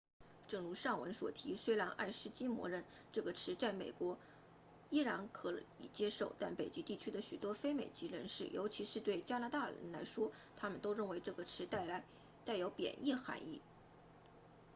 正如上文所提虽然爱斯基摩人这个词在美国仍然可以接受但北极地区的许多非美籍人士尤其是对加拿大人来说他们都认为这个词带有贬义含义